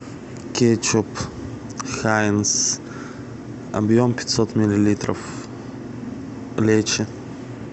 кетчуп хаинз объем пятьсот миллилитров лечо